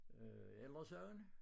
Øh Ældresagen